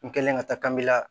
N kɛlen ka taa kanbi la